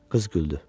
Qız güldü.